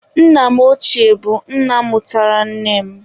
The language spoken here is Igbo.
Nna m ọchie bụ nna mụtara nne m.